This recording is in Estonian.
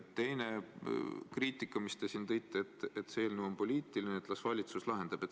Teine kriitika, mis te välja tõite, oli, et see eelnõu on poliitiline, las valitsus lahendab.